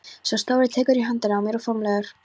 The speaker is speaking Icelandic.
Sá stóri tekur í höndina á mér formlegur.